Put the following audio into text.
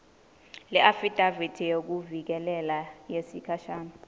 leafidavithi yekuvikeleka yesikhashana